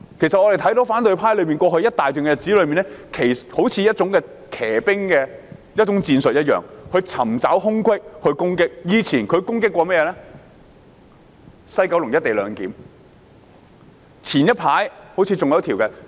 其實，我們看到反對派在過去一段日子中，好像採取騎兵戰術，尋找空隙作出攻擊，他們過去攻擊西九龍站的"一地兩檢"方案，早前攻擊《國歌條例草案》。